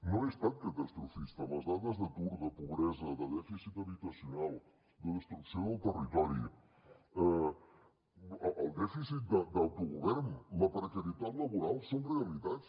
no he estat catastrofista les dades d’atur de pobresa de dèficit habitacional de destrucció del territori el dèficit d’autogovern la precarietat laboral són realitats